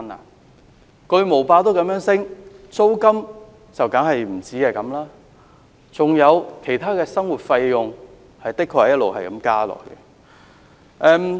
連巨無霸的價錢也如此上升，租金當然更不止如此，還有其他生活費用，也的確一直在增加。